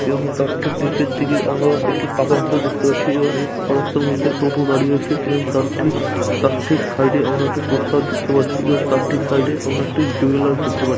এবং তার ঠিক নীচের দিকে আমরা একটি পাকা রাস্তা দেখতে পাচ্ছি এবং এই পাকা রাস্তার মধ্যে টোটা দাঁড়িয়ে আছে এবং তার ঠিক তার ঠিক সাইড -এ আমরা একটা পোস্টার দেখতে পাচ্ছি এবং তার ঠিক সাইড -এ আমরা একটা জুয়েলাস দেখতে পা--